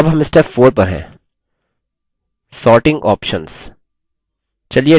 अब हम step 4 पर हैंsorting options